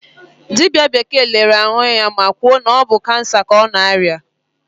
Dibịa bekee lere ya ahụ ma kwuo na ọ bụ kansa ka ọ na-arịa.